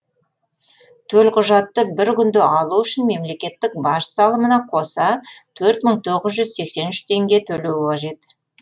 төлқұжатты бір күнде алу үшін мемлекеттік баж салымына қоса төрт мың тоғыз жүз сексен үш теңге төлеу қажет